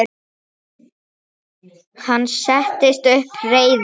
Hann settist upp, reiður.